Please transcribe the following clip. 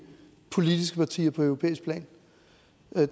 politiske partier på europæisk plan